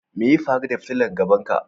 Me ya faru da fitilan gaban ka?